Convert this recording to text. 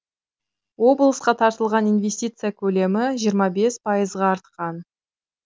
облысқа тартылған инвестиция көлемі жиырма бес пайызға артқан